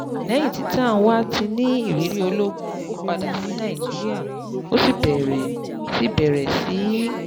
Lẹ́yìn tí Tanwa ti ní ìrírí ológun, ó padà sí Nàìjíríà, ó sì bẹ̀rẹ̀ sí í bẹ̀rẹ̀ sí í